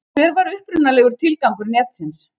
Hver var upprunalegur tilgangur netsins?